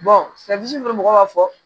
mɔgɔw b'a fɔ